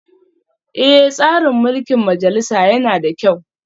Eh, tsarin mulkin majalisa yana da kyau